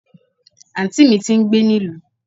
anti mí tí ń gbé ní ìlú